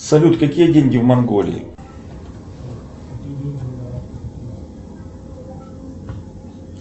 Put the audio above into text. салют какие деньги в монголии